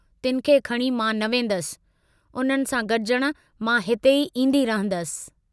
तिनखे खणी मां न वेन्दस, उन्हनि सां गडुजण मां हिते ई ईन्दी रहंदसि।